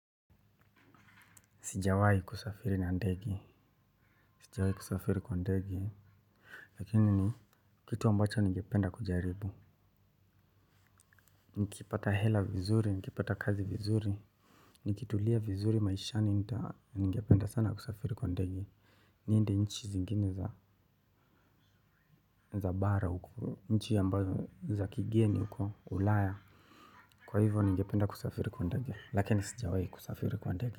Sijawahi kusafiri na ndege. Sijawaii kusafiri kwa ndegi. Lakini ni kitu ambacho ningependa kujaribu. Nikipata hela vizuri, nikipata kazi vizuri. Nikitulia vizuri maishani nita ningependa sana kusafiri kwa ndege. Niende nchi zingine za bara huko, nchi ambazo za kigeni uko Ulaya. Kwa hivyo ningependa kusafiri kwa ndege. Lakini sijawahi kusafiri kwa ndege.